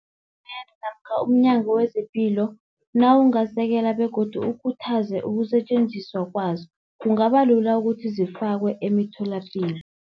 namkha umNyango wezePilo nawungasekela begodu ukhuthaze ukusetjenziswa kwazo, kungabalula ukuthi zifakwe emitholapilo.